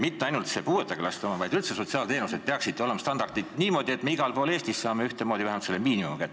Mitte ainult puudega lastele mõeldud teenuste, vaid üldse sotsiaalteenuste kohta peaksid olema sellised standardid, et igal pool Eestis saaks ühtemoodi vähemalt miinimumi kätte.